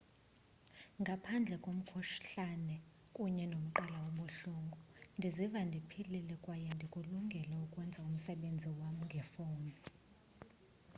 ngaphandle komkhuhlane kunye nomqala obuhlungu ndiziva ndiphilile kwaye ndikulungele ukwenza umsebenzi wam ngefowuni